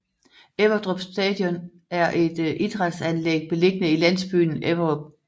Everdrup Stadion er et idrætsanlæg beliggende i landsbyen Everdrup